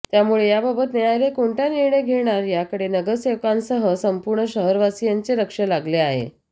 यामुळे याबाबत न्यायालय कोणता निर्णय घेणार याकडे नगरसेवकांसह संपूर्ण शहरवासियांचे लक्ष लागले आहे